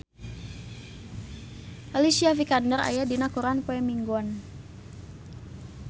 Alicia Vikander aya dina koran poe Minggon